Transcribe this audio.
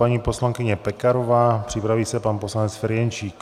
Paní poslankyně Pekarová, připraví se pan poslanec Ferjenčík.